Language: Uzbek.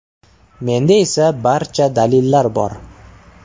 Menda esa barcha dalillar bor.